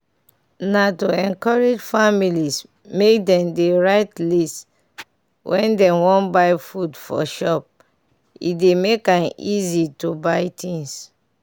na to encourage families make dem dey write list when dem wan buy food for shop e dey make am easy to buy things.